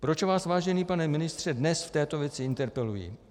Proč vás, vážený pane ministře, dnes v této věci interpeluji?